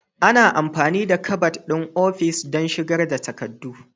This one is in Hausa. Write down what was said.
Ana amfani da kabad ɗin ofis don shigar da takardu.